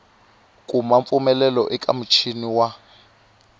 kuma mpfumelelo eka muchini wa